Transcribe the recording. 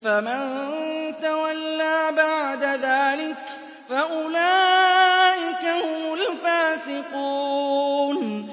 فَمَن تَوَلَّىٰ بَعْدَ ذَٰلِكَ فَأُولَٰئِكَ هُمُ الْفَاسِقُونَ